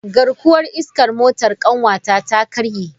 Garkuwar iskar motar kanwata ta karye.